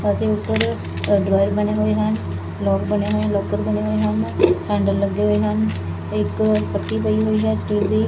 ਅਤੇ ਉਪਰ ਡ੍ਰਾਵੇਰ ਬਣੇ ਹੋਏ ਹਨ ਲਾਕ ਬਣੇ ਹੋਏ ਲਾਕਰ ਬਣੇ ਹੋਏ ਹਨ ਹੈਂਡਲ ਲੱਗੇ ਹੋਏ ਹਨ ਇੱਕ ਪੱਤੀ ਪਈ ਹੋਈ ਹੈ ਸਟੀਲ ਦੀ।